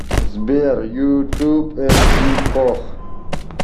сбер ютуб эмси пох